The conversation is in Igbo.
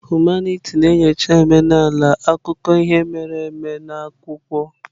Humanitị na-enyocha omenala, akụkọ ihe mere eme na akwụkwọ.